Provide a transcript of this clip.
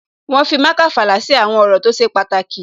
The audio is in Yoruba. Wọ́n fi marker fàlà sí àwọn ọ̀rọ̀ tó ṣe pàtàkì